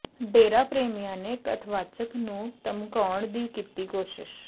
ਡੇਰਾ ਪ੍ਰੇਮੀਆਂ ਨੇ ਕਥਵਾਚਕ ਨੂੰ ਧਮਕਾਉਣ ਦੀ ਕੀਤੀ ਕੋਸ਼ਿਸ਼